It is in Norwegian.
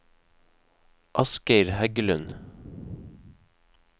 Asgeir Heggelund